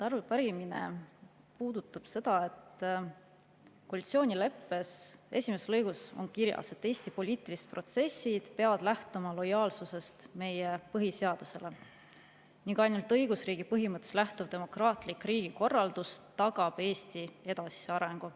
Arupärimine puudutab seda, et koalitsioonileppe esimeses lõigus on kirjas, et Eesti poliitilised protsessid peavad lähtuma lojaalsusest meie põhiseadusele ning ainult õigusriigi põhimõtetest lähtuv demokraatlik riigikorraldus tagab Eesti edasise arengu.